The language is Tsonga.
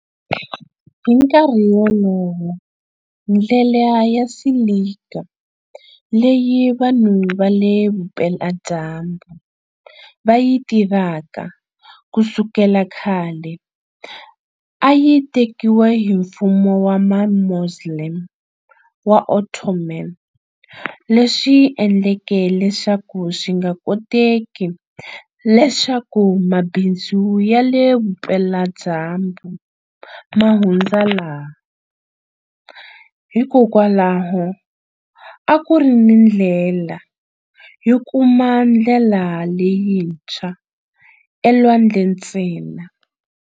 Hi nkarhi wolowo, ndlela ya silika leyi vanhu va le Vupela-dyambu va yi tivaka ku sukela khale a yi tekiwe hi Mfumo wa Mamoslem wa Ottoman, leswi endleke leswaku swi nga koteki leswaku mabindzu ya le Vupela-dyambu ma hundza laha, hikwalaho a ku ri ni ndlela yo kuma ndlela leyintshwa elwandle ntsena.